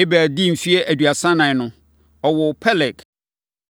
Eber dii mfeɛ aduasa ɛnan no, ɔwoo Peleg.